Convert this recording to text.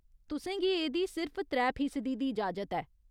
तुसें गी एह्दी सिर्फ त्रै फीसदी दी इजाजत ऐ।